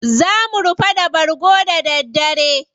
Za mu rufa da bargo da daddare.